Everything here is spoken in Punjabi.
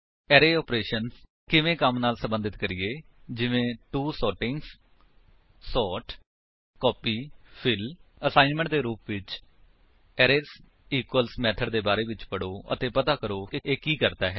ਅਰੇ ਆਪਰੇਸ਼ੰਸ ਕਿਵੇਂ ਕੰਮ ਨਾਲ ਸੰਬੰਧਿਤ ਕਰੀਏ ਜਿਵੇਂ to strings sort copy fill assignment ਦੇ ਰੂਪ ਵਿੱਚ ਅਰੇਜ਼ ਇਕੁਅਲਜ਼ ਮੇਥਡ ਦੇ ਬਾਰੇ ਵਿੱਚ ਪੜੋ ਅਤੇ ਪਤਾ ਕਰੋ ਕਿ ਇਹ ਕੀ ਕਰਦਾ ਹੈ